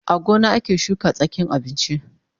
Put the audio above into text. A gona ake shuka tsakin abinchi